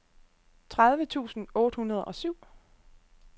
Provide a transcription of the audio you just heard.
tredive tusind otte hundrede og syv